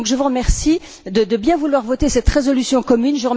Je vous remercie donc de bien vouloir adopter cette résolution commune.